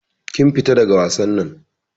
Kin fita daga wasan nan.